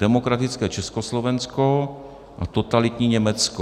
Demokratické Československo a totalitní Německo.